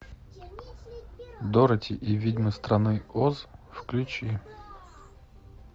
дороти и ведьмы страны оз включи